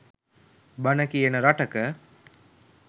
බණ කියන රටක